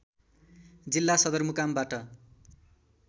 जिल्ला सदरमुकामबाट